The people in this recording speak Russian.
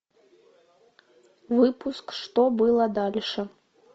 выпуск что было дальше